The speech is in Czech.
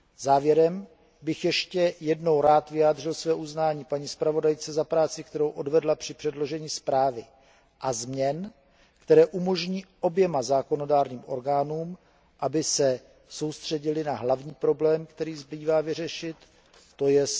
Závěrem bych ještě jednou rád vyjádřil své uznání paní zpravodajce za práci, kterou odvedla při předložení zprávy a změn, které umožní oběma zákonodárným orgánům, aby se soustředily na hlavní problém, který zbývá vyřešit, tj.